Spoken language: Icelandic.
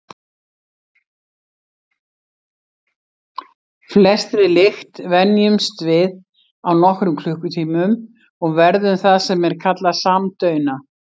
Flestri lykt venjumst við á nokkrum klukkutímum og verðum það sem er kallað samdauna.